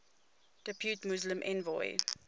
depute muslim envoy